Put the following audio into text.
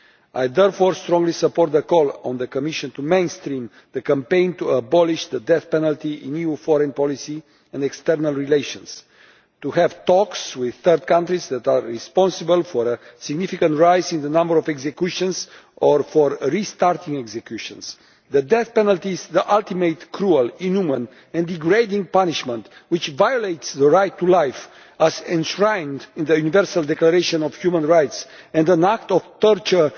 I therefore strongly support the call on the Commission to mainstream the campaign to abolish the death penalty in new foreign policy and external relations, and to have talks with third countries that are responsible for a significant rise in the number of executions or for restarting executions. The death penalty is the ultimate cruel, inhumane and degrading punishment, which violates the right to life as enshrined in the Universal Declaration of Human Rights, and an act of torture